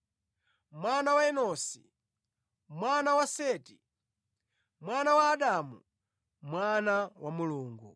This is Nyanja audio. mwana wa Enosi, mwana wa Seti, mwana wa Adamu, mwana wa Mulungu.